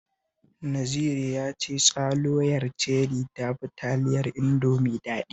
Naziru ya ce tsaloyar Cherry ta fi taliyar Indomie daɗi